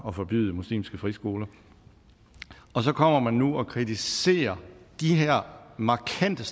at forbyde muslimske friskoler og så kommer man nu og kritiserer de her markante